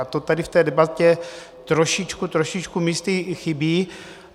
A to tady v té debatě trošičku, trošičku místy chybí.